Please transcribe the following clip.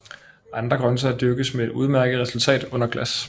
Andre grøntsager dyrkes med et udmærket resultat under glas